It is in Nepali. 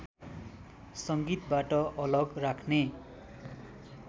संगीतबाट अलग राख्ने